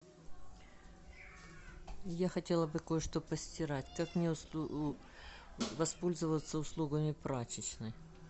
я хотела бы кое что постирать как мне воспользоваться услугами прачечной